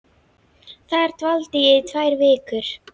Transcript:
Þar dvaldi ég í tvær vikur.